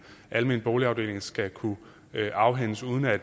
almen boligafdeling skal kunne afhændes uden at